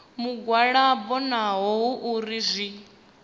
mugwalabo naho hu uri zwi